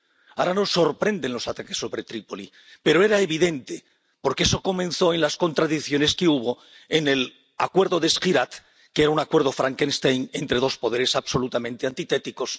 Ahora nos sorprenden los ataques sobre Trípoli, pero era evidente, porque eso comenzó en las contradicciones que hubo en el Acuerdo de Sjirat, que era un acuerdo Frankenstein entre dos poderes absolutamente antitéticos.